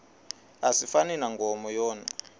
asifani nankomo yona